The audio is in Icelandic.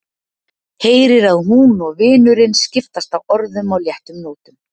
Heyrir að hún og vinurinn skiptast á orðum á léttum nótum.